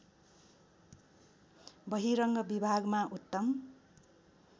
बहिरङ्ग विभागमा उत्तम